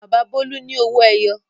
Bàbá Bólú ní Owó-ẹyọ.